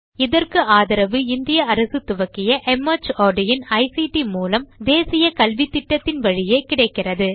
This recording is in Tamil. இதற்கு ஆதரவு இந்திய அரசு துவக்கிய மார்ட் இன் ஐசிடி மூலம் தேசிய கல்வித்திட்டத்தின் வழியே கிடைக்கிறது